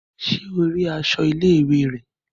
Ṣe o ríi aṣọ ilé-ìwé rẹ?